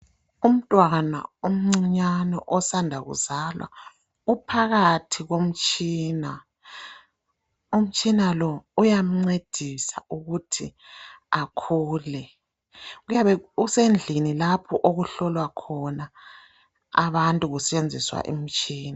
Umntwana omncinyane osanda kuzalwa uphakathi komtshina. Umtshina lo uyamncedisa ukuthi akhule. Kuyabe kusendlini lapho okuhlolwa khona abantu kusetshenziswa imitshina.